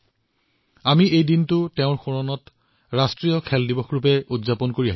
আৰু আমাৰ দেশেও তেওঁৰ স্মৃতিত এই দিনটো ৰাষ্ট্ৰীয় ক্ৰীড়া দিৱস হিচাপে উদযাপন কৰে